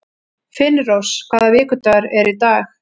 Finnrós, hvaða vikudagur er í dag?